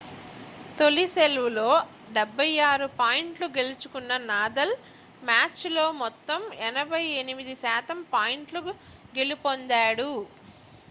తొలి సెర్వ్లో 76 పాయింట్లు గెలుచుకున్న నాదల్ మ్యాచ్లో మొత్తం 88% పాయింట్లు గెలుపొందాడు